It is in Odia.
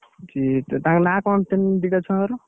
ଠିକ୍ ସେ ତାଙ୍କ ନାଁ କଣ ତି ଦିଟା ଛୁଆଙ୍କର?